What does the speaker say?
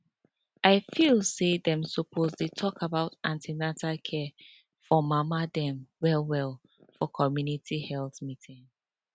i feel say dem suppose dey talk about an ten atal care for mama dem well well for community health meeting